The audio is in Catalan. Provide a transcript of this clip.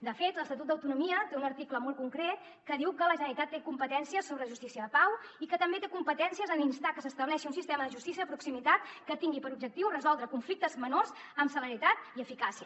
de fet l’estatut d’autonomia té un article molt concret que diu que la generalitat té competències sobre justícia de pau i que també té competències en instar que s’estableixi un sistema de justícia de proximitat que tingui per objectiu resoldre conflictes menors amb celeritat i eficàcia